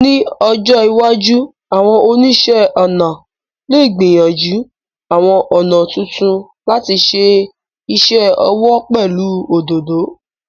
Ní ọjọ́ iwájú, àwọn oníṣẹ́-ọnà lè gbìyànjú àwọn ọ̀nà tuntun láti ṣe iṣẹ́ ọwọ́ pẹ̀lú òdòdó.